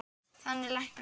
Þannig læknast